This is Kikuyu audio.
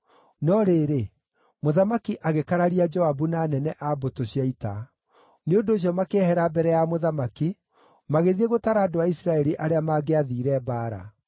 No rĩrĩ, mũthamaki, agĩkararia Joabu na anene a mbũtũ cia ita; nĩ ũndũ ũcio makĩehera mbere ya mũthamaki, magĩthiĩ gũtara andũ a Isiraeli arĩa mangĩathiire mbaara.